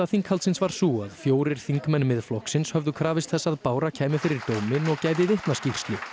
þinghaldsins var sú að fjórir þingmenn Miðflokksins höfðu krafist þess að Bára kæmi fyrir dóminn og gæfi vitnaskýrslu